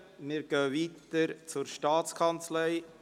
Wir fahren weiter mit der Staatskanzlei.